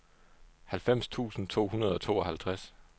halvfems tusind to hundrede og tooghalvtreds